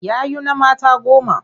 Yayuna mata goma.